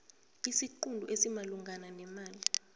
isiqunto esimalungana nemali